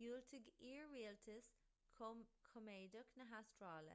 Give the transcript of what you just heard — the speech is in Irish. dhiúltaigh iar-rialtas coimeádach na hastráile